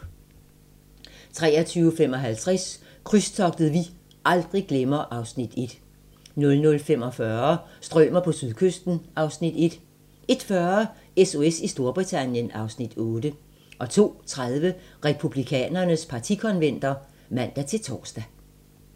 23:55: Krydstogtet vi aldrig glemmer (Afs. 1) 00:45: Strømer på sydkysten (Afs. 1) 01:40: SOS i Storbritannien (Afs. 8) 02:30: Republikanernes partikonventer (man-tor)